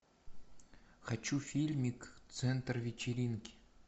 хочу фильмик центр вечеринки